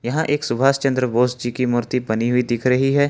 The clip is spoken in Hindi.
यहां एक सुभाष चंद्र बोस जी की मूर्ति बनी हुई दिख रही है।